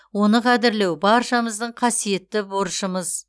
оны қадірлеу баршамыздың қасиетті борышымыз